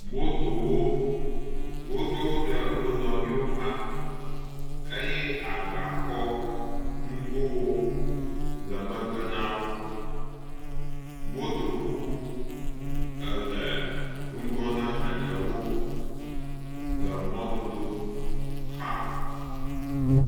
Motowo, woɖo wo ɖe wo nɔ nɔewo xa, eye agbakɔnugowo le megbe na wo, motokuku ele ŋgɔ ne eɖewo le mɔdodo xa.